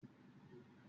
Agílẹ̀ ni a lọ̀